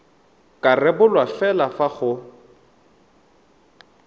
ka rebolwa fela fa go